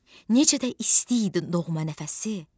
Necə də isti idi doğma nəfəsi!